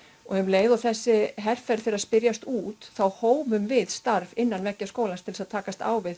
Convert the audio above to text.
og um leið og þessi herferð fer að spyrjast út þá hófum við starf innan veggja skólans til að takast á við